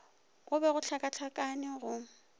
go be go hlakahlakane go